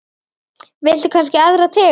Viltu kannski aðra tegund?